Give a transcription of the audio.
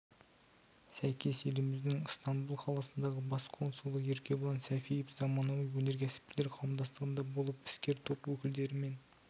сәйкес еліміздің ыстамбұл қаласындағы бас консулы еркебұлан сәпиев заманауи өнеркәсіпшілер қауымдастығында болып іскер топ өкілдерімен